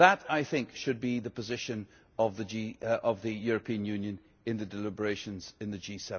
That, I think, should be the position of the European Union in the deliberations in the